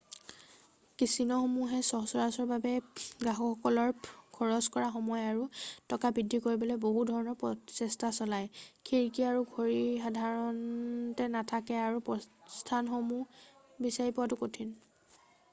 কেছিন'সমূহে সচৰাচৰভাৱে গ্ৰাহকসকলে খৰচ কৰা সময় আৰু টকা বৃদ্ধি কৰিবলৈ বহু ধৰণৰ প্ৰচেষ্ঠা চলায় খিৰিকী আৰু ঘড়ী সাধাৰণতে নাথাকে আৰু প্ৰস্থানসমূহ বিচাৰি পোৱাটো কঠিন